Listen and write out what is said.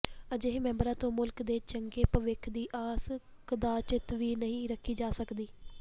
ਅਜਿਹੇ ਮੈਂਬਰਾਂ ਤੋਂ ਮੁਲਕ ਦੇ ਚੰਗੇ ਭਵਿੱਖ ਦੀ ਆਸ ਕਦਾਚਿਤ ਵੀ ਨਹੀਂ ਰੱਖੀ ਜਾ ਸਕਦੀ